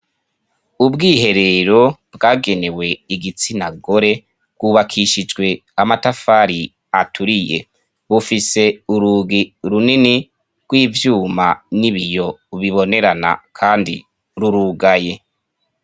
Ubwiherero bwagenewe igitsina gore rwubakishijwe amatafari aturiye bufise urugi runini rw'ivyuma n'ibiyo ubibonerana, kandi rurugaye.